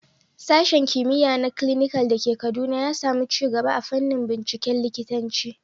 Sashen Kimiyya na Clinical da ke Kaduna ya samu ci gaba a fannin binciken likitanci.